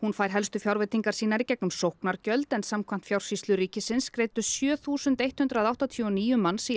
fær helstu fjárveitingar í gegnum sóknargjöld en samkvæmt Fjársýslu ríkisins greiddu sjö þúsund hundrað áttatíu og níu manns í